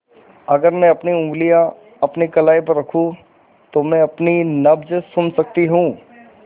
अगर मैं अपनी उंगलियाँ अपनी कलाई पर रखूँ तो मैं अपनी नब्ज़ सुन सकती हूँ